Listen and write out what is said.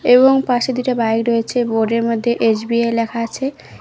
এবং পাশে দুইটা বাইক রয়েছে বোর্ডের মধ্যে এস_বি_আই লেখা আছে।